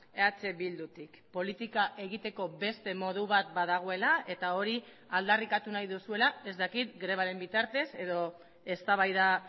eh bildutik politika egiteko beste modu bat badagoela eta hori aldarrikatu nahi duzuela ez dakit grebaren bitartez edo eztabaida